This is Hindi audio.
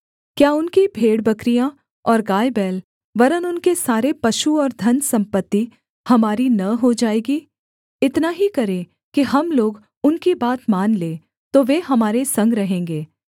क्या उनकी भेड़बकरियाँ और गायबैल वरन् उनके सारे पशु और धनसम्पत्ति हमारी न हो जाएगी इतना ही करें कि हम लोग उनकी बात मान लें तो वे हमारे संग रहेंगे